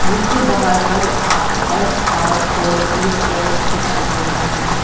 जिसके बाहर पर अह एस_आर फोर क्लिफ्टर्स दिखाई दे रहा है।